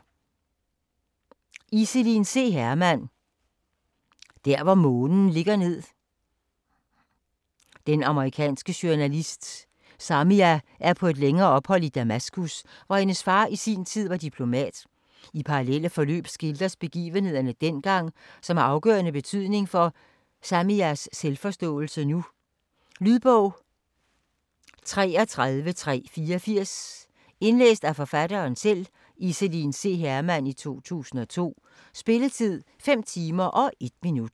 Hermann, Iselin C.: Der hvor månen ligger ned Den amerikanske journalist Samia er på et længere ophold i Damaskus, hvor hendes far i sin tid var diplomat. I parallelle forløb skildres begivenheder dengang, som har afgørende betydning for Samias selvforståelse nu. Lydbog 33384 Indlæst af Iselin C. Hermann, 2002. Spilletid: 5 timer, 1 minut.